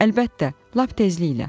Əlbəttə, lap tezliklə.